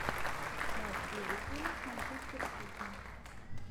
матч ливерпуля с манчестер сити